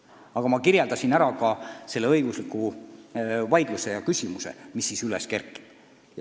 Aga ma rääkisin ka õiguslikust vaidlusest, suurest küsimusest, mis siis üles kerkib.